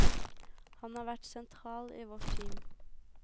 Han har vært sentral i vårt team.